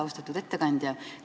Austatud ettekandja!